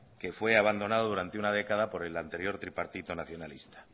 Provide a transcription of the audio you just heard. que fue abandonado durante una década por el anterior tripartito nacionalista